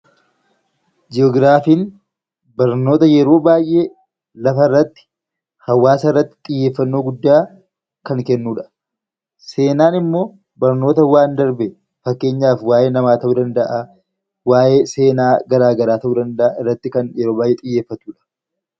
Ji'ograafiin barnoota yeroo baay'ee lafa irratti, hawaasa irratti xiyyeeffannoo guddaa kan kenu dha. Seenaan immoo barnoota waan darbe, fakkeenyaaf waa'ee namaa ta'uu danda'a, waa'ee seenaa garaa garaa ta'uu danda'aa, irratti yeroo baay'ee kan xiyyeeffatu dha.